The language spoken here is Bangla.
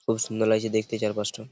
খুব সুন্দর লাগছে দেখতে চারপাশটা ।